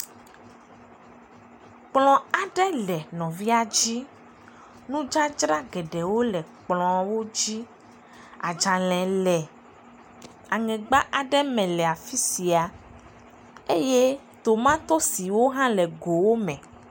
Kplɔ aɖe le nɔvia dzi, nudzadzra geɖewo le kplɔwo dzi, adzale le aŋegba aɖe me le afi sia eye tomatosiwo hã le gowo me.